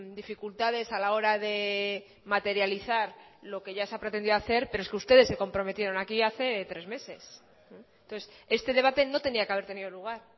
dificultades a la hora de materializar lo que ya se ha pretendido hacer pero es que ustedes se comprometieron aquí hace tres meses entonces este debate no tenía que haber tenido lugar